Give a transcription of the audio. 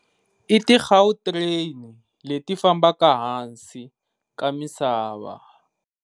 I ti Gautrain leti fambaka hansi ka misava.